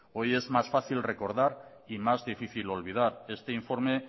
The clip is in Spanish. hoy es más fácil recordar y más difícil olvidar este informe